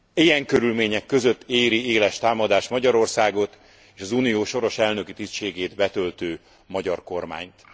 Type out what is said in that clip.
Ilyen körülmények között éri éles támadást Magyarországot és az Unió soros elnöki tisztségét betöltő magyar kormányt.